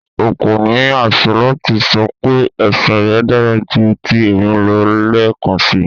O ko ni aṣẹ lati sọ pe ẹsin rẹ dara ju ti emi lọ lẹẹkansi